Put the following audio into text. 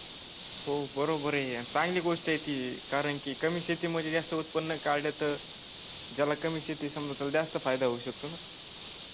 हो बरोबर आहे. चांगली गोष्ट आहे ती. कारण की कमी शेतीमध्ये जास्त उत्पन्न काढल तर ज्याला कमी शेती समजा त्याला जास्त फायदा होऊ शकतो ना.